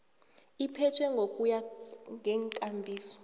iphethwe ngokuya ngeenkambiso